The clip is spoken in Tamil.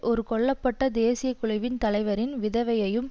ஒரு கொல்ல பட்ட தேசிய குழுவின் தலைவரின் விதவையும்